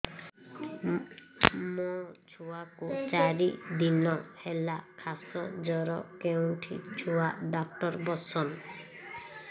ମୋ ଛୁଆ କୁ ଚାରି ଦିନ ହେଲା ଖାସ ଜର କେଉଁଠି ଛୁଆ ଡାକ୍ତର ଵସ୍ଛନ୍